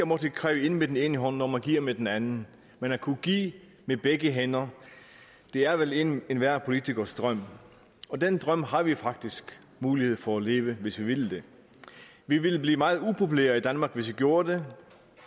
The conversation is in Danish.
måtte kræve ind med den ene hånd når man giver med den anden men at kunne give med begge hænder er vel enhver politikers drøm og den drøm har vi faktisk mulighed for at leve hvis vi vil det vi ville blive meget upopulære i danmark hvis vi gjorde det